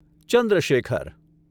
Chandra Shekhar